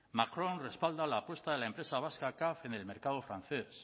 macron respalda la apuesta de la empresa vasca caf en el mercado francés